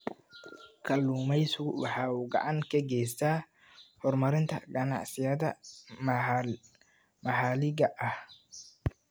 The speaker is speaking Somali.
Kalluumaysigu waxa uu gacan ka geystaa horumarinta ganacsiyada maxaliga ah.